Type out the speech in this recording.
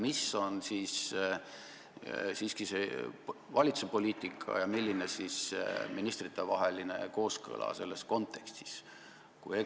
Mis on siis siiski valitsuse poliitika ja milline on ministritevaheline kooskõla selles kontekstis?